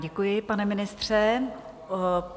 Děkuji, pane ministře.